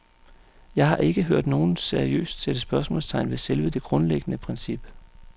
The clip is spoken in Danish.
Jeg har ikke hørt nogen seriøst sætte spørgsmålstegn ved selve det grundlæggende princip.